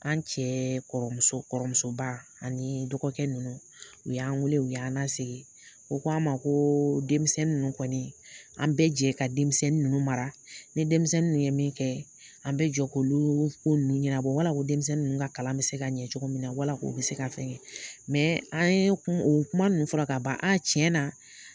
An cɛ kɔrɔmusoba ani dɔgɔkɛ ninnu u y'an wele u y'an lasigi u ko an ma ko denmisɛnnin ninnu kɔni an bɛ jɛ ka denmisɛnnin ninnu mara ni denmisɛnnin ninnu ye min kɛ an bɛ jɛ k'olu ko ninnu ɲɛnabɔ wala ko denmisɛnnin ninnu ka kalan bɛ se ka ɲɛ cogo min na bɛ se ka fɛngɛ an ye o kuma ninnu fɔra k'a ban a tiɲɛ na